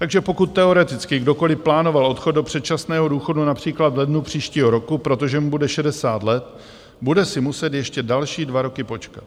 Takže pokud teoreticky kdokoliv plánoval odchod do předčasného důchodu například v lednu příštího roku, protože mu bude 60 let, bude si muset ještě další dva roky počkat.